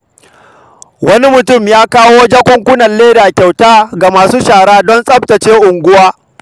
Wani mutum ya kawo jakunkunan leda kyauta ga masu shara don tsaftace unguwa.